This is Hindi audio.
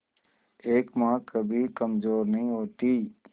एक मां कभी कमजोर नहीं होती